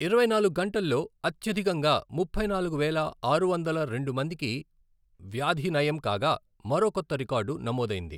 ఇరవై నాలుగు గంటల్లో అత్యధికంగా ముప్పై నాలుగు వేల ఆరు వందల రెండు మందికి వ్యాధినయం కాగా, మరో కొత్త రికార్డు నమోదైంది.